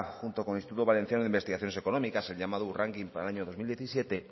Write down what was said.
junto con instituto valenciano de investigaciones económicas el llamado u ranking para el año dos mil diecisiete